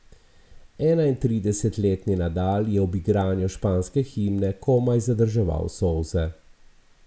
Enaintridesetletni Nadal je ob igranju španske himne komaj zadrževal solze.